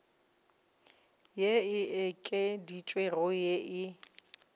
ye e okeditšwego ye e